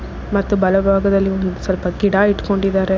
ಮತ್ತು ಬಲಭಾಗದಲ್ಲಿ ಒಂದು ಸ್ವಲ್ಪ ಗಿಡ ಇಟ್ಕೊಂಡಿದ್ದಾರೆ.